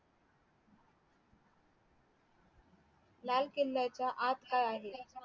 लाल किल्ल्याच्या आत काय आहे